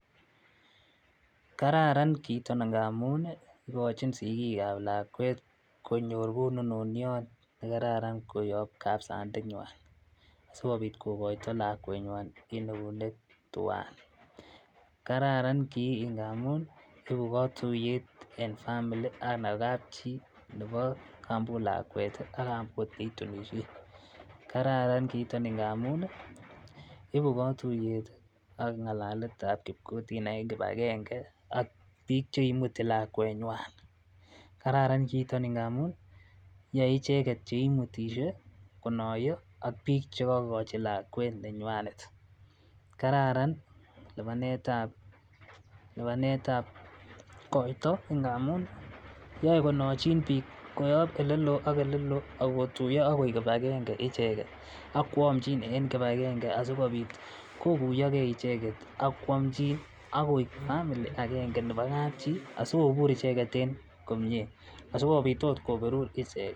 Kararan kiiton ngamun nii ikochin sikik ab lakwet konyor kononotyok nekararan koyob sandet nywan sikopit kokoito lakwenywa en neunek twan kararan kii ngamun ibu kotuyet en family anan kapchii nebo kambot lakwet tii ak kambot netunishe. Kararan kiiton ngamun nii ibu kotuyet tii ak ngalaletab kiokutina en kipakenge ak bik cheimuti lakwenywa,. Kararan kiiton ngamun yoe ichek cheimutishe konoyo ak bik chekokochi lakwet nenywanet, kararan lipanetab lipanetab koito ngamun yoe konochin bik koyob ole loo ak ole loo ak kotuyo ak koik kipakenge icheket ak kwomchi en kipakenge asikopit kokuyogee icheket ak kwomchin akoik family agenge nebo kapchii asikobir icheket en komie, asikopit ot koberur ichek.